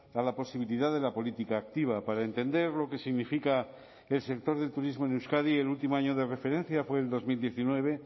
a la posibilidad de la política activa para entender lo que significa el sector del turismo en euskadi el último año de referencia fue el dos mil diecinueve